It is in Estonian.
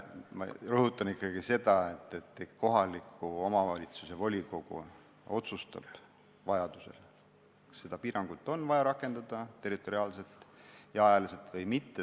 Ma rõhutan ikkagi seda, et kohaliku omavalitsuse volikogu otsustab vajaduse korral, kas seda piirangut on vaja territoriaalselt ja ajaliselt rakendada või mitte.